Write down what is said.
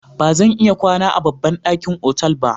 Ba zan iya kwana a babban ɗakin otal ba.